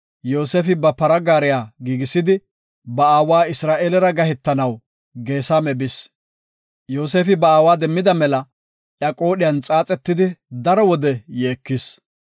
Yoosefi ba para gaariya giigisidi, ba aawa Isra7eelera gahetanaw Geesame bis. Yoosefi ba aawa demmida mela iya qoodhiyan xaaxetidi daro wode yeekis.